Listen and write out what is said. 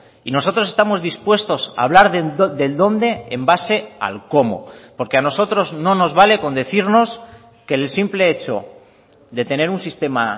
y nosotros estamos dispuestos a hablar del dónde en base al cómo porque a nosotros no nos vale con decirnos que el simple hecho de tener un sistema